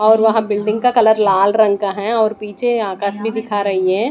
और वह बिल्डिंग का कलर लाल रंग का है और पीछे आकाश भी दिखा रही है।